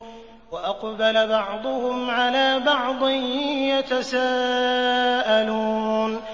وَأَقْبَلَ بَعْضُهُمْ عَلَىٰ بَعْضٍ يَتَسَاءَلُونَ